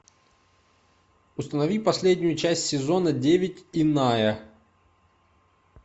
установи последнюю часть сезона девять иная